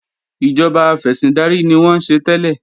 Ìjọba afẹ̀sìndarí ni wọ́n ń ṣe tẹ́lẹ̀